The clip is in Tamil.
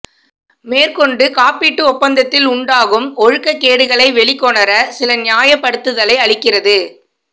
மேற்கொண்டு காப்பீட்டு ஒப்பந்ததில் உண்டாகும் ஒழுக்கக் கேடுகளை வெளிக்கொணர சில நியாயப் படுத்துதலை அளிக்கிறது